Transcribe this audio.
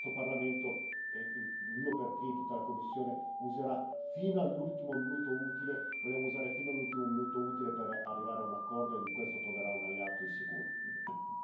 E da ultimo, questo Parlamento, io per primo così come tutta la Commissione, userà fino all'ultimo minuto utile, vogliamo usare fino all'ultimo minuto utile per arrivare a un accordo e in questo troverà un alleato di sicuro.